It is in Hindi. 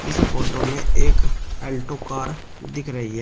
इस फोटो में एक अल्टो कार दिख रही है।